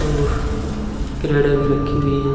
और क्रेडे भी रखी हुइ हैं।